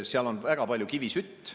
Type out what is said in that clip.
Seal on väga palju kivisütt.